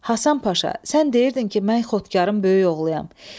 Hasan Paşa, sən deyirdin ki, mən Xotkarın böyük oğluyam.